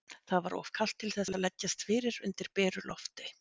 Það var of kalt til þess að leggjast fyrir undir beru lofti.